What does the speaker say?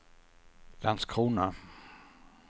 Landskrona